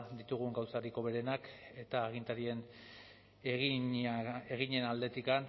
ditugun gauzarik hoberena eta agintarien eginen aldetik